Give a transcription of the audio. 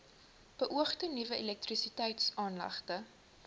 beoogde nuwe elektrisiteitsaanlegte